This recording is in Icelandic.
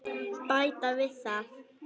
Bæta við það.